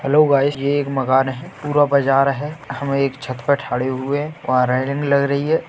Hello guys ये एक मकान है। पूरा बाजार है। हमे एक छत पे ठहरे हुए हैं। वहाँ रेलिंग लग रही है।